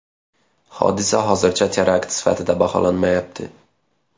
Hodisa hozircha terakt sifatida baholanmayapti.